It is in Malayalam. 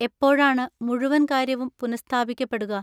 എപ്പോഴാണ് മുഴുവൻ കാര്യവും പുനഃസ്ഥാപിക്കപ്പെടുക?